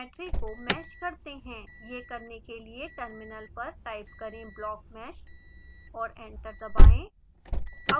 यह करने के लिए टर्मिनल पर टाइप करें: blockmesh और एंटर दबाएं